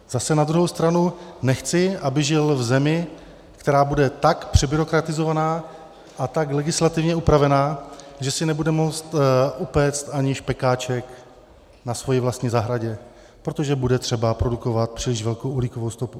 Zase na druhou stranu nechci, aby žil v zemi, která bude tak přebyrokratizovaná a tak legislativně upravená, že si nebude moct upéct ani špekáček na své vlastní zahradě, protože bude třeba produkovat příliš velkou uhlíkovou stopu.